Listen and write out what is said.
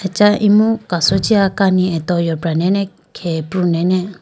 acha imu kaso jiya kani atowe yopra nene khege pru nene.